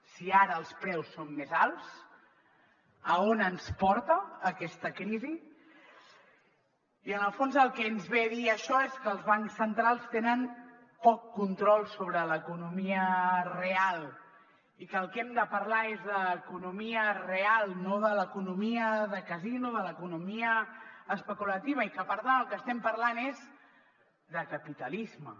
si ara els preus són més alts a on ens porta aquesta crisi i en el fons el que ens ve a dir això és que els bancs centrals tenen poc control sobre l’economia real i que del que hem de parlar és d’economia real no de l’economia de casino de l’economia especulativa i que per tant del que estem parlant és de capitalisme